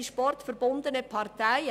Die dem Sport Verbundene Partei».